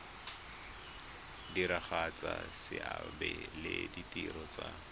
diragatsa seabe le ditiro tsa